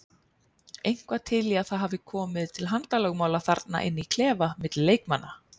Eitthvað til í að það hafi komið til handalögmála þarna inn í klefa milli leikmanna?